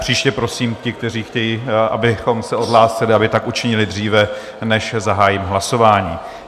Příště prosím, ti, kteří chtějí, abychom se odhlásili, aby tak učinili dříve, než zahájím hlasování.